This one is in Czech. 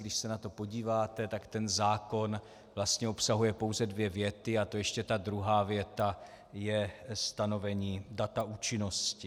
Když se na to podíváte, tak ten zákon vlastně obsahuje pouze dvě věty, a to ještě ta druhá věta je stanovení data účinnosti.